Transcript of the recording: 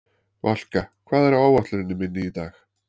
Valka, hvað er á áætluninni minni í dag?